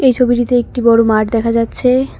ছবিটিতে একটি বড় মাঠ দেখা যাচ্ছে।